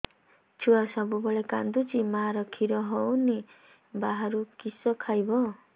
ଛୁଆ ସବୁବେଳେ କାନ୍ଦୁଚି ମା ଖିର ହଉନି ବାହାରୁ କିଷ ଖାଇବ